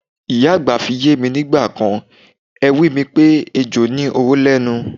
Ìyá àgbà fi yé mi nígbà èwe mi pé ejò ní oró lé̩nu.